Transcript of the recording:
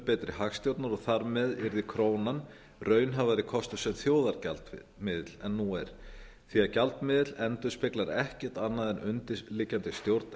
betri hagstjórnar og þar með yrði krónan raunhæfari kostur sem þjóðargjaldmiðill en nú er því að gjaldmiðill endurspeglar ekkert annað en undirliggjandi stjórn